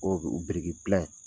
O